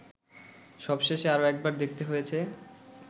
সবশেষে আরো একবার দেখতে হয়েছে